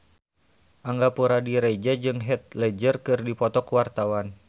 Angga Puradiredja jeung Heath Ledger keur dipoto ku wartawan